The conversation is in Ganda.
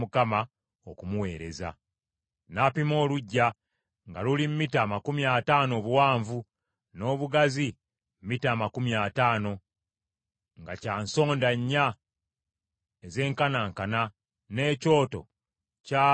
N’apima oluggya, nga luli mita amakumi ataano obuwanvu, n’obugazi mita amakumi ataano, nga kya nsonda nnya ezenkanankana, n’ekyoto kyali mu maaso ga yeekaalu.